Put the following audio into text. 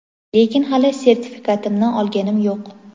lekin hali sertifikatimni olganim yo‘q.